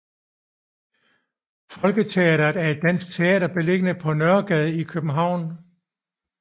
Folketeatret er et dansk teater beliggende på Nørregade i København